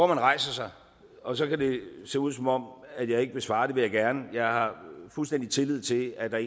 rejser sig og så kan det se ud som om jeg ikke vil svare men det vil jeg gerne jeg har fuldstændig tillid til at der